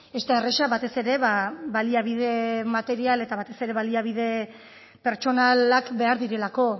ez da erraza batez ere baliabide material eta batez ere baliabide pertsonalak behar direlako